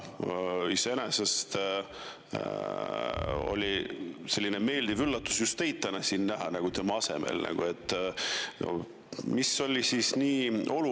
Iseenesest oli selline meeldiv üllatus täna tema asemel just teid siin näha.